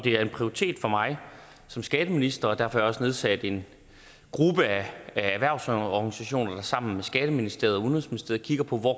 er en prioritet for mig som skatteminister og derfor også nedsat en gruppe af erhvervsorganisationer der sammen med skatteministeriet og udenrigsministeriet kigger på hvor